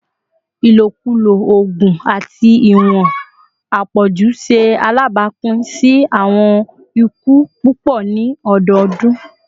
ilokulo oogun ati iwọn apọju ṣe alabapin si awọn iku pupọ ni ọdọọdun